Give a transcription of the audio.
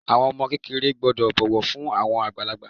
Àwọn ọmọ kékeré gbọ́dọ̀ bọ̀wọ̀ fún àwọn àgbàlagbà.